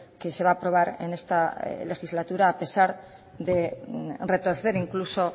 que se va a aprobar en esta legislatura a pesar de retorcer incluso